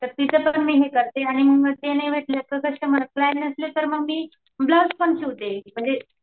तर तिथं पण मी हे करते आणि ते कस्टमर नसले तर मी ब्लाउज पण शिवते म्हणजे